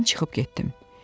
Mən çıxıb getdim.